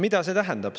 Mida see tähendab?